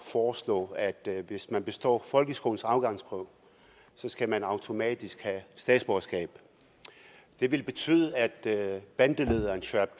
foreslå at hvis man består folkeskolens afgangsprøve skal man automatisk have statsborgerskab det ville betyde at bandelederen shuaib